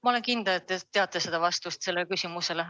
Ma olen kindel, et te teate vastust sellele küsimusele.